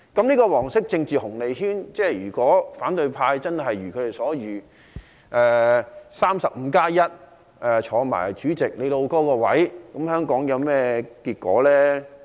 這個"黃色政治紅利圈"，如果真的一如反對派所料，取得 "35+1" 的議席，再當上主席"老兄"的位置，香港會有甚麼結果呢？